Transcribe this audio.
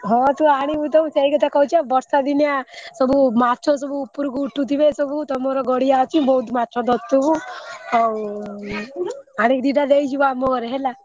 ହଁ ତୁ ଆଣିବୁ ତ ମୁ ସେଇକଥା କହୁଛି ବା ବର୍ଷା ଦିନିଆ ସବୁ ମାଛ ସବୁ ଉପରକୁ ଉଠୁଥିବେ ସବୁ ତମର ଗଡିଆ ଅଛି ବହୁତ ମାଛ ଧରୁଥିବୁ ଆଉ ଆଣିକି ଦି ଟା ଦେଇଯିବୁ ଆମ ଘରେ ହେଲା।